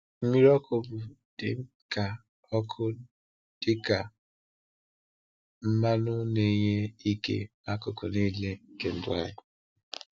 Mmiri ọkụ bụ dịka ọkụ bụ dịka mmanụ na-enye ike n’akụkụ niile nke ndụ anyị.